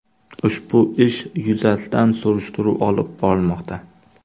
Ushbu ish yuzasidan surishtiruv olib borilmoqda.